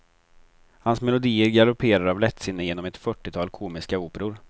Hans melodier galopperar av lättsinne genom ett fyrtiotal komiska operor.